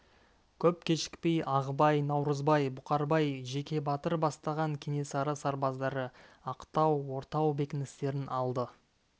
көп кешікпей ағыбай наурызбай бұқарбай жеке батыр бастаған кенесары сарбаздары ақтау ортау бекіністерін алды